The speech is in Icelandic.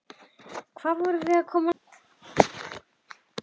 Hvað vorum við komin langt?